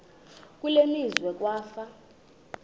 kule meazwe kwafa